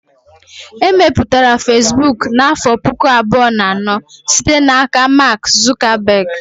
E mepụtara Fesbụụk n'afọ pụkụ abụọ na anọ site n'aka Mark Zuckerberg